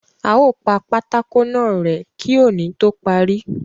A ó pa pátákó náà rẹ̀ẹ́ kí òní tó parí.